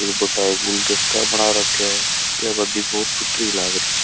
एक बड़ा गुलदस्ता बना राखा हैया गाड़ी बहुत सुथरी लागरी स।